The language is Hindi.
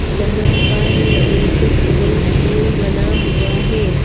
जहां पर एक स्विविंग पूल बना हुआ है।